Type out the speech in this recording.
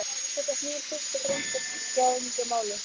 Þetta snýr fyrst og fremst að tryggingamálum.